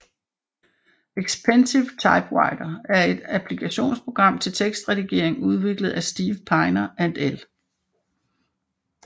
Expensive Typewriter er et applikationsprogram til tekstredigering udviklet af Steve Piner and L